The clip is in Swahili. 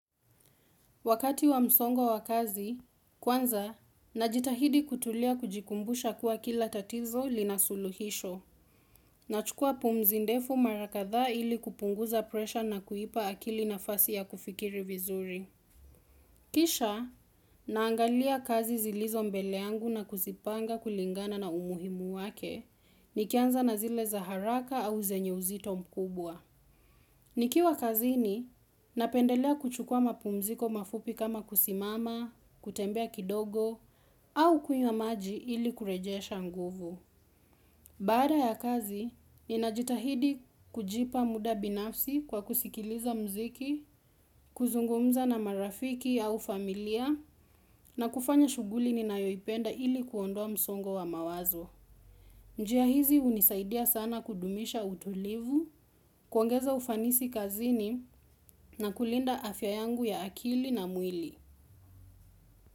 Wakati wa msongo wa kazi, kwanza, najitahidi kutulia kujikumbusha kuwa kila tatizo linasuluhisho. Nachukua pumzi ndefu mara kadhaa ili kupunguza presha na kuipa akili nafasi ya kufikiri vizuri. Kisha, naangalia kazi zilizo mbele yangu na kuzipanga kulingana na umuhimu wake, nikianza na zile za haraka au zenyu uzito mkubwa. Nikiwa kazini, napendelea kuchukua mapumziko mafupi kama kusimama, kutembea kidogo, au kunywa maji ili kurejesha nguvu. Baada ya kazi, ninajitahidi kujipa muda binafsi kwa kusikiliza muziki, kuzungumza na marafiki au familia, na kufanya shughuli ninayoipenda ili kuondoa msongo wa mawazo. Njia hizi hunisaidia sana kudumisha utulivu, kuongeza ufanisi kazini na kulinda afya yangu ya akili na mwili.